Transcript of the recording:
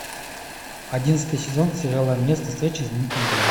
одиннадцатый сезон сериала место встречи изменить нельзя